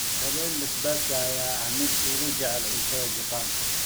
Ramen basbaaska ayaa ah midka ugu jecel cunnada Japan.